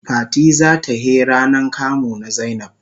Fati za ta he ranan kamu na zainab.